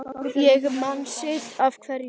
Ég man sitt af hverju